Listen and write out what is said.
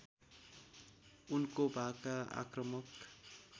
उनको भाका आक्रमक